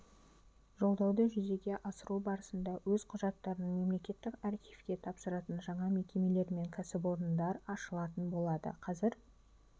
жолдауды жүзеге асыру барысында өз құжаттарын мемлекеттік архивке тапсыратын жаңа мекемелер мен кәсіпорындар ашылатын болады қазір